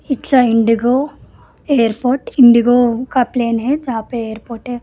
It's a IndiGo airport IndiGo का plane है जहां पे एयरपोर्ट है।